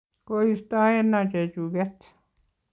Koistoeno chechuket